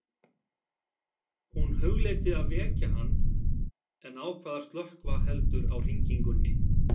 Hún hugleiddi að vekja hann en ákvað að slökkva heldur á hringingunni.